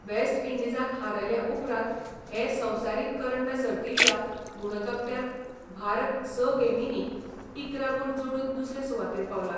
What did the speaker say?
Waste इंडीजाक हारयले उपरांत हे संवसारीक करंड सर्तीच्या गुणतकट्यांत भारत स गेमींनी इकरा गूण जोडून दुसरे सुवातेर पावला.